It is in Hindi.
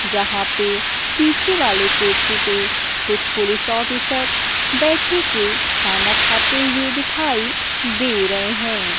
यहां पे पीछे वाले कुर्सी पे कुछ पुलिस ऑफिसर बैठी के खाने खाते हुए दिखाई दे रहे हैं।